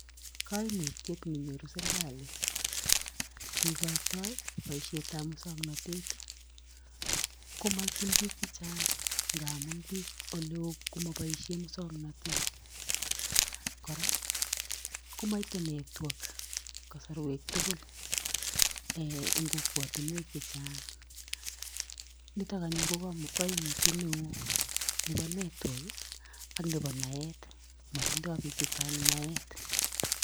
Koimutiet nenyoru serikali yeikoitoi boisiet ab musoknotet , ko moityin piik chechang ngamun piik olewo ko mopoisien musoknotet , kora komoite network kosorwek tugul en kokwotinuek chechang nito anyun ko koimutiet newo nibo network ak nepo naet , motindo piik chechang naet .